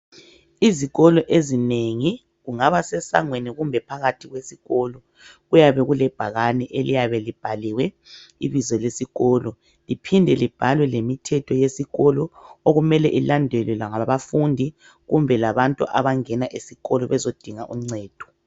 Izikolo ezinengi, kungaba sesangweni kumbe phakathi kwesikolo, kuyabe kulebhakani eliyabe libhaliwe ibizo besikolo. Liphinde libhalwe lemithetho yesikolo okumele ilandelwe labafundi kumbe labantu abangena esikolo bezodinga uncedo.